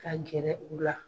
Ka gɛrɛ u la.